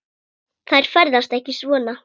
Þær ferðast ekki svona.